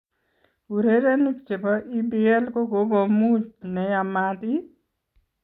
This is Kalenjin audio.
Urerenik chebo EPL kogokomuny ne yamat iih?